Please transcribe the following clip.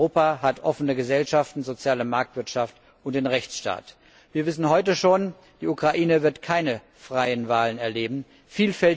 Europa hat offene Gesellschaften, soziale Marktwirtschaft und den Rechtsstaat. Wir wissen heute schon, dass die Ukraine keine freien Wahlen erleben wird.